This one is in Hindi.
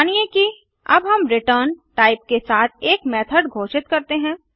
मानिए कि अब हम रिटर्न टाइप के साथ एड मेथड घोषित करते हैं